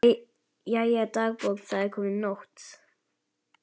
Jæja, dagbók, það er komin nótt.